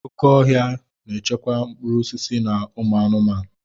Oké ọhia na-echekwa mkpụrụ osisi na ụmụ anụmanụ.